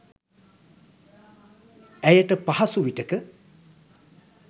ඇයට පහසු විටක